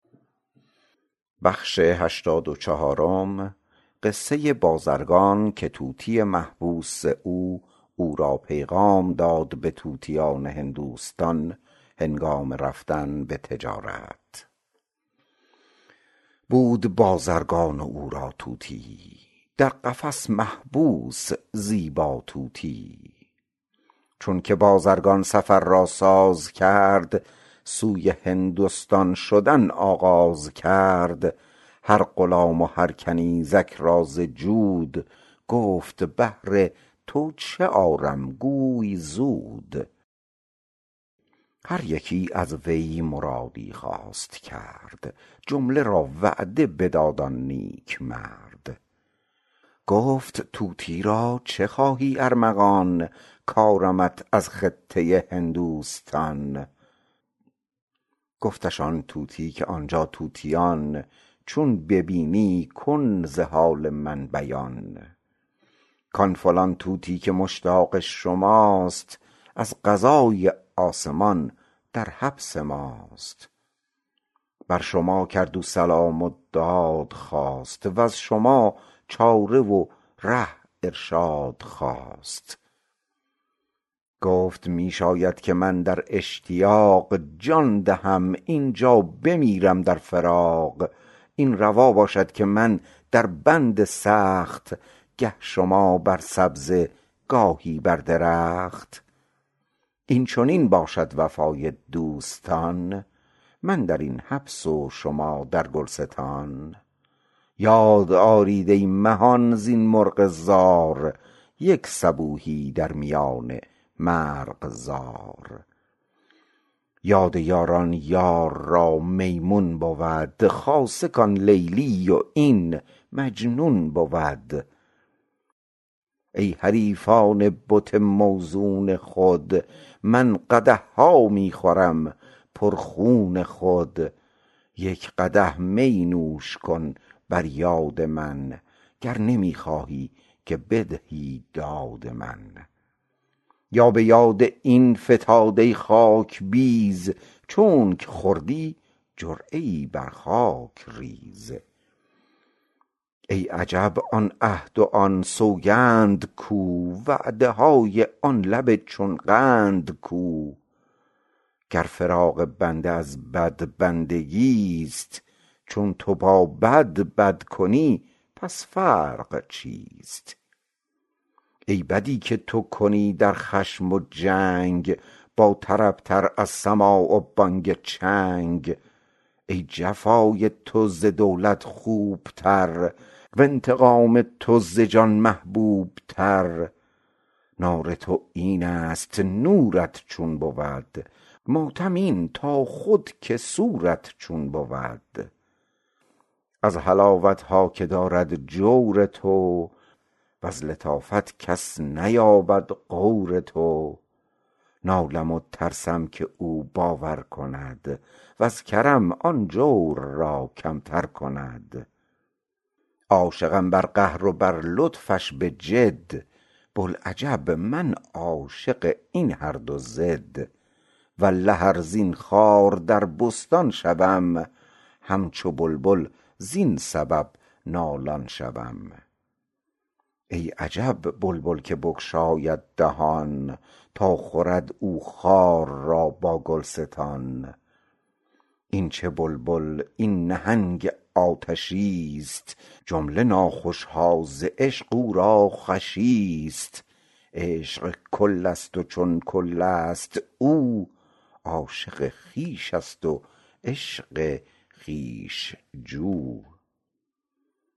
بود بازرگان و او را طوطیی در قفس محبوس زیبا طوطیی چونک بازرگان سفر را ساز کرد سوی هندستان شدن آغاز کرد هر غلام و هر کنیزک را ز جود گفت بهر تو چه آرم گوی زود هر یکی از وی مرادی خواست کرد جمله را وعده بداد آن نیک مرد گفت طوطی را چه خواهی ارمغان کارمت از خطه هندوستان گفتش آن طوطی که آنجا طوطیان چون ببینی کن ز حال من بیان کان فلان طوطی که مشتاق شماست از قضای آسمان در حبس ماست بر شما کرد او سلام و داد خواست وز شما چاره و ره ارشاد خواست گفت می شاید که من در اشتیاق جان دهم اینجا بمیرم در فراق این روا باشد که من در بند سخت گه شما بر سبزه گاهی بر درخت این چنین باشد وفای دوستان من درین حبس و شما در گلستان یاد آرید ای مهان زین مرغ زار یک صبوحی در میان مرغزار یاد یاران یار را میمون بود خاصه کان لیلی و این مجنون بود ای حریفان بت موزون خود من قدحها می خورم پر خون خود یک قدح می نوش کن بر یاد من گر نمی خواهی که بدهی داد من یا به یاد این فتاده خاک بیز چونک خوردی جرعه ای بر خاک ریز ای عجب آن عهد و آن سوگند کو وعده های آن لب چون قند کو گر فراق بنده از بدبندگی ست چون تو با بد بد کنی پس فرق چیست ای بدی که تو کنی در خشم و جنگ با طرب تر از سماع و بانگ چنگ ای جفای تو ز دولت خوب تر و انتقام تو ز جان محبوب تر نار تو اینست نورت چون بود ماتم این تا خود که سورت چون بود از حلاوتها که دارد جور تو وز لطافت کس نیابد غور تو نالم و ترسم که او باور کند وز کرم آن جور را کمتر کند عاشقم بر قهر و بر لطفش بجد بوالعجب من عاشق این هر دو ضد والله ار زین خار در بستان شوم همچو بلبل زین سبب نالان شوم این عجب بلبل که بگشاید دهان تا خورد او خار را با گلستان این چه بلبل این نهنگ آتشیست جمله ناخوشها ز عشق او را خوشیست عاشق کلست و خود کلست او عاشق خویشست و عشق خویش جو